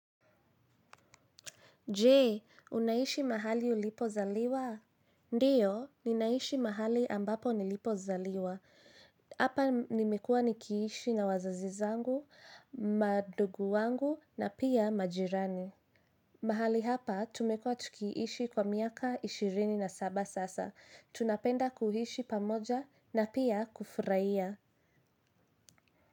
Jee, unaishi mahali ulipo zaliwa? Ndiyo, ninaishi mahali ambapo nilipo zaliwa. Hapa nimekuwa nikiishi na wazazi wangu, mandugu wangu na pia majirani. Mahali hapa, tumekua tukiishi kwa miaka ishirini na saba sasa. Tunapenda kuishi pamoja na pia kufurahia.